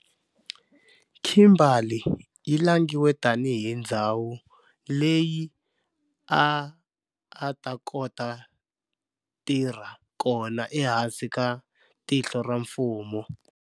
Kimberley yi langiwile tani hi ndzhawu leyi a a ta kota tirha kona ehansi ka tinhlo ra mfumo.